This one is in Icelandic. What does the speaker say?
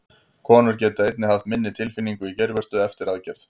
Konur geta einnig haft minni tilfinningu í geirvörtu eftir aðgerð.